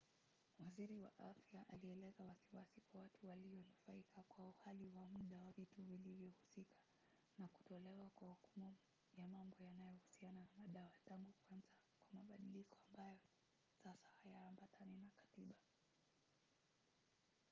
waziri wa afya alieleza wasiwasi kwa watu walionufaika kwa uhalali wa mda wa vitu vilivyohusika na kutolewa kwa hukumu ya mambo yanayohusiana na madawa tangu kuanza kwa mabadiliko ambayo sasa hayaambatani na katiba